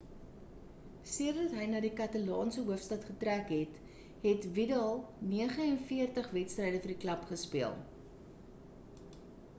sedert hy na die katalaanse hoofstad getrek het het vidal 49 wedstryde vir die klub gespeel